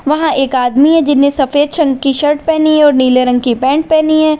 वहां एक आदमी है जिन्हें सफेद चंग की शर्ट पहनी है और नीले रंग की पैंट पहनी है।